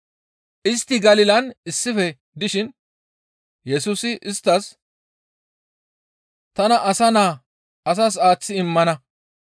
Istti Galilan issife dishin Yesusi isttas, «Tana Asa Naa asas aaththi immana.